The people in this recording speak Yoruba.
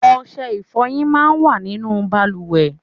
Ọṣẹ ifọyin máa ń wà nínú bàlùwẹ̀.